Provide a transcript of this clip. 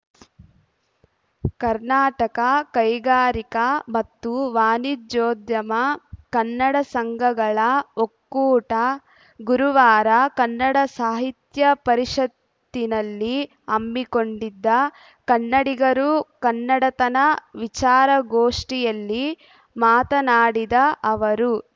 ಕರ್ನಾಟಕ ಕೈಗಾರಿಕಾ ಮತ್ತು ವಾಣಿಜ್ಯೋದ್ಯಮ ಕನ್ನಡ ಸಂಘಗಳ ಒಕ್ಕೂಟ ಗುರುವಾರ ಕನ್ನಡ ಸಾಹಿತ್ಯ ಪರಿಷತ್ತಿನಲ್ಲಿ ಹಮ್ಮಿಕೊಂಡಿದ್ದ ಕನ್ನಡಿಗರು ಕನ್ನಡತನ ವಿಚಾರಗೋಷ್ಠಿಯಲ್ಲಿ ಮಾತನಾಡಿದ ಅವರು